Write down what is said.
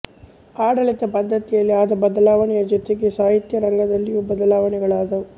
ಆಡಳಿತ ಪದ್ದತಿಯಲ್ಲಿ ಆದ ಬದಲಾವಣೆಯ ಜೊತೆಗೆ ಸಾಹಿತ್ಯ ರಂಗದಲ್ಲಿಯೂ ಬದಲಾವಣೆಗಳಾದವು